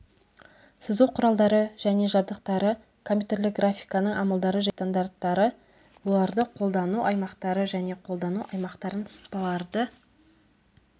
сызу құралдары және жабдықтары компьютерлік графиканың амалдары және стандарттары оларды қолдану аймақтары және қолдану аймақтарын сызбаларды